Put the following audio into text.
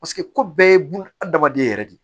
Paseke ko bɛɛ ye buna hadamaden yɛrɛ de ye